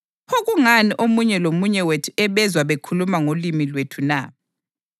Pho kungani omunye lomunye wethu ebezwa bekhuluma ngolimi lwethu na?